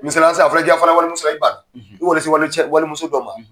Misali la sisan a fɔra k'i ka fara walimuso la, , i y'i ban, , i wale se walicɛ walimuso dɔ ma,